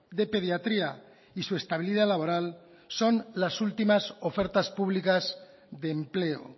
de pediatría y su estabilidad laboral son las últimas ofertas públicas de empleo